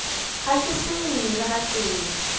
ga ke tsenwe le gatee